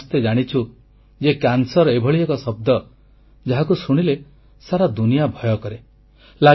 ଆମେ ସମସ୍ତେ ଜାଣିଛୁ ଯେ କ୍ୟାନ୍ସର ଏଭଳି ଏକ ଶବ୍ଦ ଯାହାକୁ ଶୁଣିଲେ ସାରା ଦୁନିଆ ଭୟ କରେ